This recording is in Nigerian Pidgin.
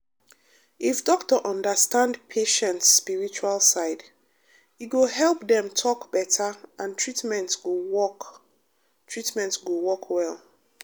if doctor understand patient spiritual side e go help dem talk better and treatment go work treatment go work well.